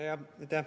Aitäh!